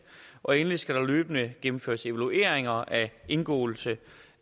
og endelig skal der løbende gennemføres evalueringer af indgåelse